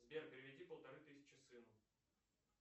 сбер переведи полторы тысячи сыну